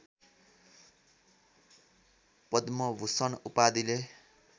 Padma Bhushan उपाधिले